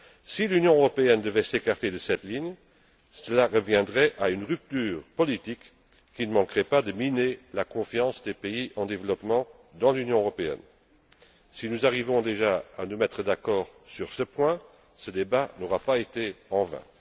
Si l'Union européenne devait s'écarter de cette ligne, cela reviendrait à une rupture politique qui ne manquerait pas de miner la confiance des pays en développement dans l'Union européenne. Si nous arrivons déjà à nous mettre d'accord sur ce point, ce débat n'aura pas été vain.